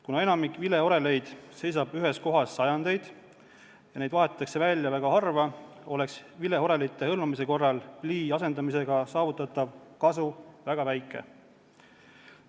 Kuna enamik vileoreleid seisab ühes kohas sajandeid ja neid vahetatakse välja väga harva, oleks vileorelite hõlmamise korral plii asendamisega saavutatav kasu väga väike.